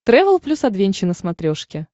трэвел плюс адвенча на смотрешке